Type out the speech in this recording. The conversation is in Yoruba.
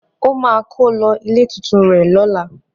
Ó máa kó lọ ilé tuntun rẹ̀ lọ́lá.